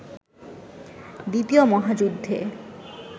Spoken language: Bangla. দ্বিতীয় মহাযুদ্ধে